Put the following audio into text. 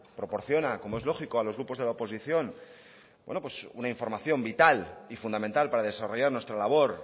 proporciona como es lógico a los grupos de la oposición una información vital y fundamental para desarrollar nuestra labor